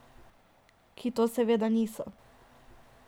Ki to seveda niso.